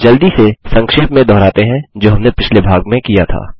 जल्दी से संक्षेप में दोहराते हैं जो हमने पिछले भाग किया था